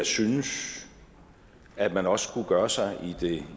synes at man også skulle gøre sig